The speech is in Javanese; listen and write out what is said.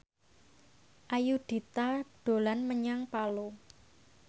Ayudhita dolan menyang Palu